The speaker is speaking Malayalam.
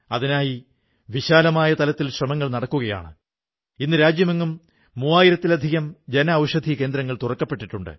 അതിൽ ദേശീയ ഐക്യത്തിനായുള്ള നമ്മുടെ ശ്രമങ്ങളെ മുന്നോട്ടു നയിക്കുന്ന അനേകം പ്രവർത്തനങ്ങൾ കാണാനാകും